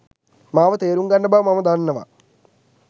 මාව තේරුම්ගන්න බව මම දන්නවා.